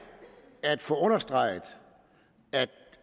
at få understreget at